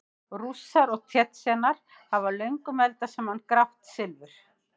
Rússar og Tsjetsjenar hafa löngum eldað grátt silfur saman.